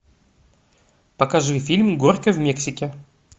покажи фильм горько в мексике